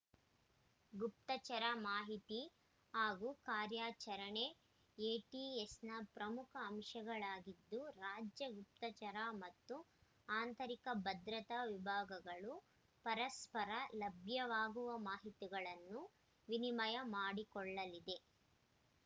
ಗುಪ್ತಚರ ಮಾಹಿತಿ ಹಾಗೂ ಕಾರ್ಯಾಚರಣೆ ಎಟಿಎಸ್‌ನ ಪ್ರಮುಖ ಅಂಶಗಳಾಗಿದ್ದು ರಾಜ್ಯ ಗುಪ್ತಚರ ಮತ್ತು ಆಂತರಿಕ ಭದ್ರತಾ ವಿಭಾಗಗಳು ಪರಸ್ಪರ ಲಭ್ಯವಾಗುವ ಮಾಹಿತಿಗಳನ್ನು ವಿನಿಮಯ ಮಾಡಿಕೊಳ್ಳಲಿದೆ